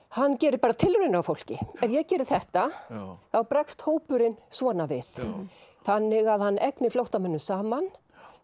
hann gerir bara tilraunir á fólki ef ég geri þetta þá bregst hópurinn svona við þannig að hann egnir flóttamönnum saman